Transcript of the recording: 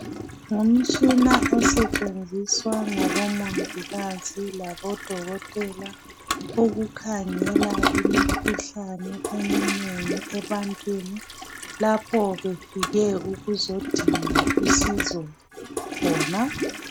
Ngumtshina osetshenziswa ngabomongikazi labodokotela ukukhangela imikhuhlane eminengi ebantwini lapho befike ukuzodinga usizo khona.